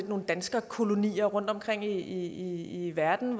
nogle danskerkolonier rundtomkring i i verden